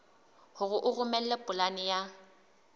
hore o romele polane ya